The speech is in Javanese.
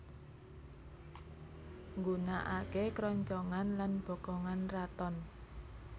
Nggunakaké kroncongan lan bokongan raton